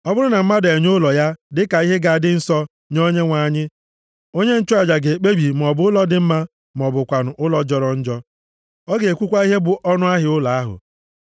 “ ‘Ọ bụrụ na mmadụ enye ụlọ ya, dịka ihe ga-adị nsọ nye Onyenwe anyị, onye nchụaja ga-ekpebi maọbụ ụlọ dị mma, ma ọ bụkwanụ ụlọ jọrọ njọ. Ọ ga-ekwukwa ihe bụ ọnụahịa ụlọ ahụ.